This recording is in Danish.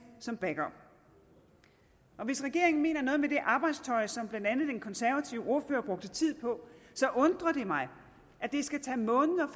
som backup hvis regeringen mener noget med det med arbejdstøjet som blandt andet den konservative ordfører brugte tid på undrer det mig at det skal tage måneder